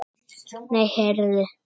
Nei, heyrðu.